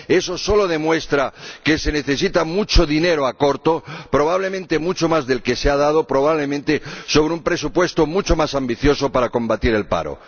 Eso solo demuestra que se necesita mucho dinero a corto plazo, probablemente mucho más del que se ha dado, probablemente sobre un presupuesto mucho más ambicioso para combatir el paro.